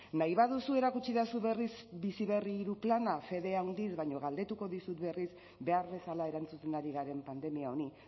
nahi baduzu erakutsi didazu berriz bizi berri bigarren plana fede handiz baina galdetuko dizut berriz behar bezala erantzuten ari garen pandemia honi